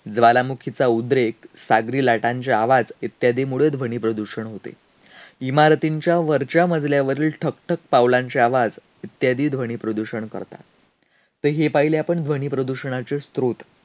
ज्वालामुखीचा उद्रेक, सागरी लाटांचे आवाज इत्यादीमुळे ध्वनीप्रदूषण होते. इमारतींच्या वरच्या मजल्यावरील ठकठक पावलांचे आवाज इत्यादी ध्वनीप्रदूषण करतात. तर हे पाहिले आपण ध्वनीप्रदूषणाचे स्त्रोत.